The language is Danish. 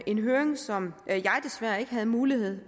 en høring som jeg desværre ikke havde mulighed